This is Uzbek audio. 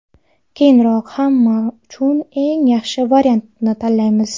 Keyinroq hamma uchun eng yaxshi variantni tanlaymiz”.